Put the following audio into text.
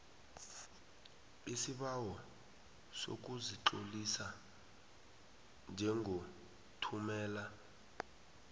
isibawo sokuzitlolisa njengothumela